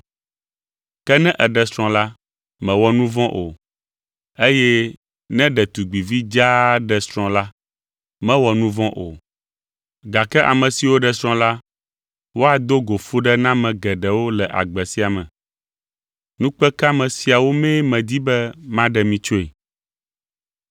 Ke ne èɖe srɔ̃ la, mèwɔ nu vɔ̃ o, eye ne ɖetugbivi dzaa ɖe srɔ̃ la, mewɔ nu vɔ̃ o, gake ame siwo ɖe srɔ̃ la, woado go fuɖename geɖewo le agbe sia me. Nukpekeame siawo mee medi be maɖe mi tsoe.